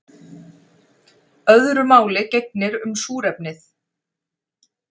Öðru máli gegnir um súrefnið.